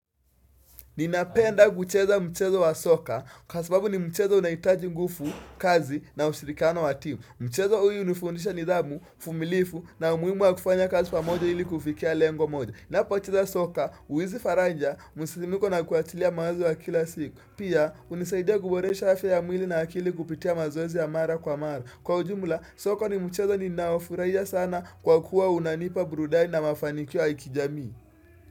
Ninapenda kucheza mchezo wa soka kwa sababu ni mchezo unahitaji nguvu kazi na ushirikiano wa timu. Mchezo huu hunifundisha nidhamu, uvumilivu na umuhimu wa kufanya kazi pamoja ili kufikia lengo moja. Ninapocheza soka, uwizi faraja, msisimko na kuachilia mawazo wa kila siku Pia, hunisaidia kuboresha afya ya mwili na akili kupitia mazoezi ya mara kwa mara. Kwa ujumla, soka ni mchezo ninaofurahia sana kwa kuwa unanipa burudani na mafanikio ya kijamii.